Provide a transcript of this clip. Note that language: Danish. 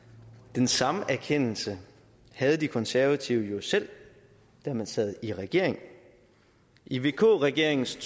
den samme erkendelse havde de konservative jo selv da man sad i regering i vk regeringens